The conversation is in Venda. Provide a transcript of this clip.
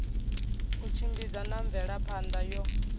u tshimbidza na mvelaphana yo